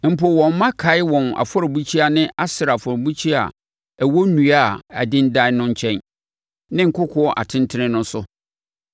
Mpo, wɔn mma kae wɔn afɔrebukyia ne Asera afɔrebukyia a ɛwɔ nnua a adendan no nkyɛn ne nkokoɔ atentene no so.